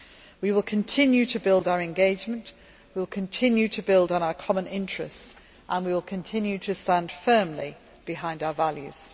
We will continue to build our engagement, we will continue to build on our common interests and we will continue to stand firmly behind our values.